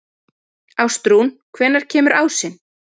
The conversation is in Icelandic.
Ástrún, hvenær kemur ásinn?